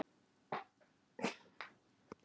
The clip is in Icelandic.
Ég man ekki eftir honum öðruvísi en dælduðum.